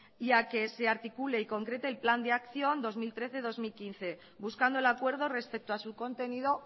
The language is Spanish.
y a que se articule y concrete el plan de acción dos mil trece dos mil quince buscando el acuerdo respecto a su contenido